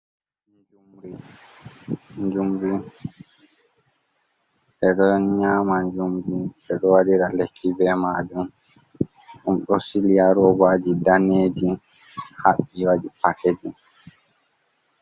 Njumri. Njumri, ɓe ɗo nyama njumri, ɓe ɗo waɗira lekki be majum. Ɗum ɗo sili haa robaji daneeji, haɓɓi waɗi pakejin.